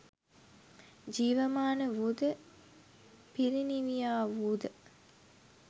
ජීවමාන වූද පිරිනිවියා වූ ද